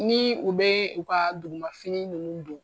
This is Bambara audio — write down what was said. Ni u bɛ u ka duguma fini nunnu don.